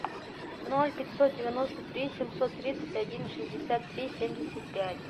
ноль пятьсот девяносто три семьсот тридцать один шестьдесят три семьдесят пять